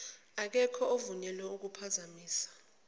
akekho ovunyelwe ukuphazamisa